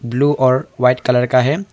Blue और white colour का है।